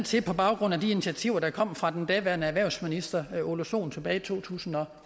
til på baggrund af de initiativer der kom fra den daværende erhvervsminister ole sohn tilbage i to tusind og